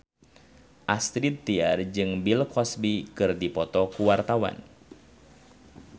Astrid Tiar jeung Bill Cosby keur dipoto ku wartawan